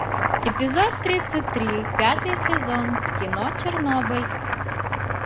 эпизод тридцать три пятый сезон кино чернобыль